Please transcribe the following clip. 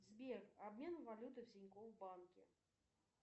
сбер обмен валюты в тинькофф банке